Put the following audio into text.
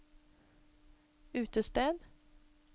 utested